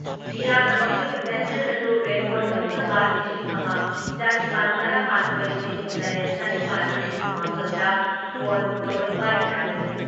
ꯃꯤꯌꯥꯝꯅ ꯃꯈꯣꯏꯒꯤ ꯃꯦꯁꯦꯁ ꯑꯗꯨ ꯔꯦꯀꯣꯔꯠ ꯇꯧꯅꯕ ꯂꯤꯁꯤꯡ ꯑꯃ ꯆꯥꯅꯤꯄꯥꯟ ꯇꯔꯥ ꯃꯥꯊꯣꯏ ꯂꯤꯁꯤꯡ ꯇꯔꯦꯠ ꯆꯥꯅꯤꯄꯥꯟ ꯃꯔꯤꯐꯨ ꯃꯥꯄꯜ ꯗ ꯐꯣꯟ ꯇꯧꯔꯛꯄ ꯌꯥꯒꯅꯤ